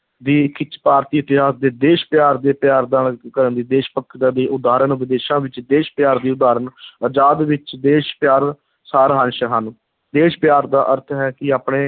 ਦੀ ਖਿੱਚ, ਭਾਰਤੀ ਇਤਿਹਾਸ ਦੇ ਦੇਸ਼ ਪਿਆਰ ਦੇ ਪਿਆਰ ਦਾ ਦੇਸ਼ ਭਗਤਾਂ ਦੀਆਂ ਉਦਾਹਰਨ, ਵਿਦੇਸ਼ਾਂ ਵਿੱਚ ਦੇਸ਼ ਪਿਆਰ ਦੀ ਉਦਾਹਰਨ ਆਜ਼ਾਦ ਵਿੱਚ ਦੇਸ਼ ਪਿਆਰ, ਸਾਰ-ਅੰਸ਼ ਹਨ, ਦੇਸ਼ ਪਿਆਰ ਦਾ ਅਰਥ ਹੈ ਕਿ ਆਪਣੇ